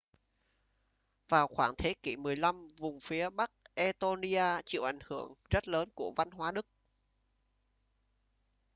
vào khoảng thế kỷ 15 vùng phía bắc estonia chịu ảnh hưởng rất lớn của văn hóa đức